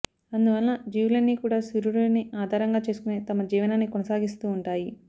అందువలన జీవులన్నీ కూడా సూర్యుడిని ఆధారంగా చేసుకునే తమ జీవనాన్ని కొనసాగిస్తూ వుంటాయి